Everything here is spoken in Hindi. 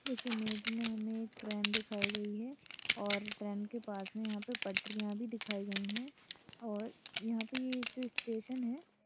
इस इमेज में हमे एक ट्रेन दिखाई गई है और ट्रेन के पास में यहां पे पटरियां भी दिखाई गई है और यहां पे ये जो स्टेशन है।